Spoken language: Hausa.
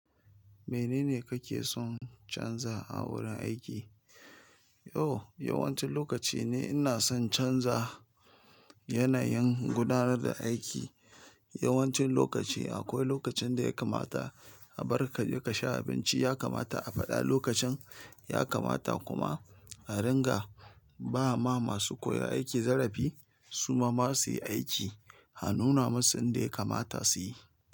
Menene kake son canza a wurin aiki? O, yawancin lokaci ne ina son canza yanayin gudanar da aiki yawancin lokaci. Akwai lokacin da ya kamata a bar ka kaje ka sha abinci, ya kamata a faɗa lokacin, ya kamata kuma a ringa ba ma masu koya aiki zarafi. Su ma ma suyi aiki a nuna musu inda ya kamata su yi.